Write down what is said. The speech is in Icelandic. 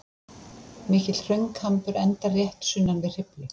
Mikill hraunkambur endar rétt sunnan við Hriflu.